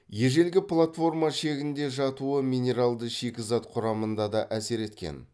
ежелгі платформа шегінде жатуы минералды шикізат құрамында да әсер еткен